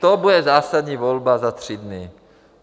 To bude zásadní volba za tři dny.